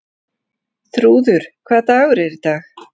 Þrúður, hvaða dagur er í dag?